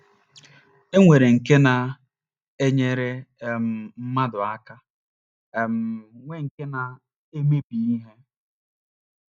E nwere nke na - enyere um mmadụ aka um, nwee nke na - emebi ihe.